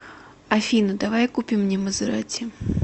афина давай купим мне мазератти